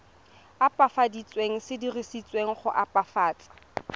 opafaditsweng se dirisetswa go opafatsa